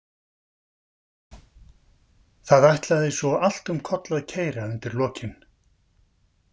Það ætlaði svo allt um koll að keyra undir lokin.